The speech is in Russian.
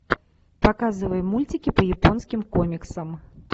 показывай мультики по японским комиксам